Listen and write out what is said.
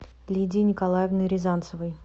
лидии николаевны рязанцевой